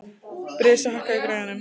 Bresi, hækkaðu í græjunum.